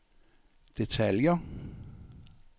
detaljer